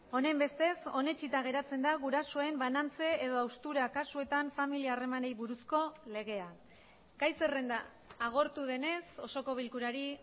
honenbestez onetsita geratzen da gurasoen banantze edo haustura kasuetan familia harremanei buruzko legea gai zerrenda agortu denez osoko bilkurari